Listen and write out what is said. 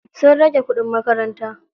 Sun rage kuɗin makaranta.